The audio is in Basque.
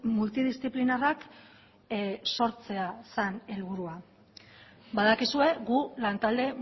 multidisziplinarrak sortzea zen helburua badakizue gu lantalde